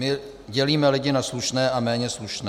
My dělíme lidi na slušné a méně slušné.